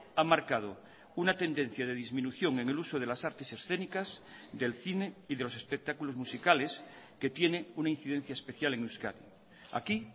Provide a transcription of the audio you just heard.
ha marcado una tendencia de disminución en el uso de las artes escénicas del cine y de los espectáculos musicales que tiene una incidencia especial en euskadi aquí